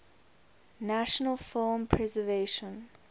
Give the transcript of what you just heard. national film preservation